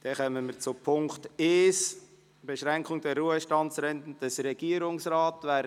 Wir kommen zu Punkt 1 auf Beschränkung der Ruhestandsrenten des Regierungsrats.